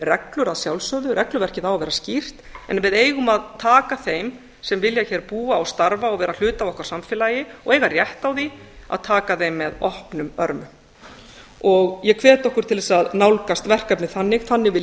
reglur að sjálfsögðu regluverkið á að vera skýrt en við eigum að taka þeim sem vilja hér búa og starfa og vera hluti af okkar samfélagi og eiga rétt á því að taka þeim með opnum örmum ég hvet okkur til að nálgast verkefni þannig þannig vil